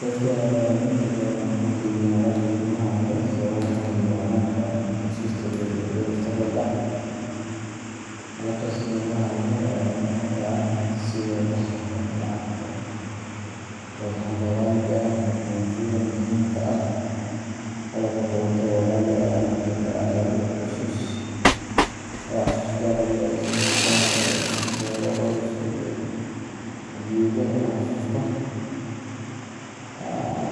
Dadka waxay inta badan u kaydiyaan alaabta qiimaha leh sababo la xiriira ammaanka, xusuusta, iyo faa’iido mustaqbalka. Alaabtaas qiimaha leh waxay noqon karaan hanti sida dahabka, lacagta, dhagxaanta qaaliga ah, dukumentiyada muhiimka ah, qalab koronto oo qaali ah, ama xitaa waxyaabo xasuus gaar ah leh sida dahab aroos, sawirro qoys, iyo hadiyado la xasuusto.